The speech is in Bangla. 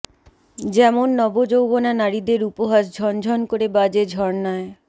যেমন নব যৌবনা নারীদের উপহাস ঝনঝন করে বাজে ঝর্নায়